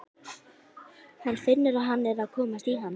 Hann finnur að hann er að komast í ham.